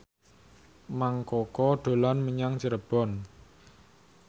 Mang Koko dolan menyang Cirebon